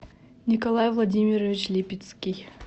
николай владимирович липицкий